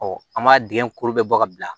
an m'a dingɛ kolo bɛɛ bɔ ka bila